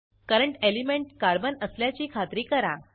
current element carbon असल्याची खात्री करा